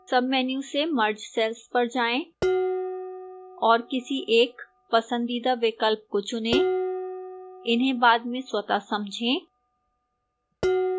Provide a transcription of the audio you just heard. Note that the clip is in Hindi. submenu से merge cells पर जाएं और किसी एक पंसदीदा विकल्प को चुनें इन्हें बाद में स्वतः समझें